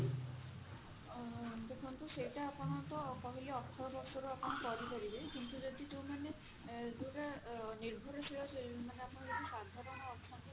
ଅ ଦେଖନ୍ତୁ ସେଟା ଆପଣ ତ କହିଲି ଅଠର ବର୍ଷରୁ ଆପଣ କରିପାରିବେ କିନ୍ତୁ ଯଦି ଯୋଉମାନେ ଯୋଉଟା ଅ ନିର୍ଭରଶୀଳ ମାନେ ଆପଣ ଯଦି ସାଧାରଣ ଅଛନ୍ତି